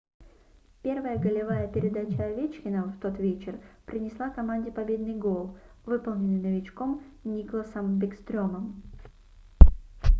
первая голевая передача овечкина в тот вечер принесла команде победный гол выполненный новичком никласом бекстрёмом